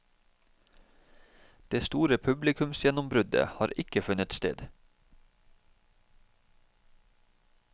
Det store publikumsgjennombruddet har ikke funnet sted.